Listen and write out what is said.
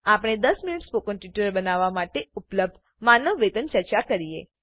આપણે દસ મિનિટ સ્પોકનના ટ્યુટોરીયલ બનાવવા માટે ઉપલબ્ધ માનવ વેતન ચર્ચા કરીએ